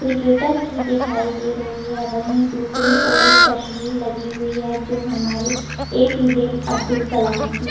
cricketer की दिखाई दे रही है वहीं दूसरी ओर एक तस्वीर लगी हुई है जो हमारे ए_पी_जे अब्दुल कलाम की--